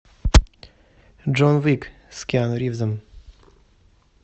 джон уик с киану ривзом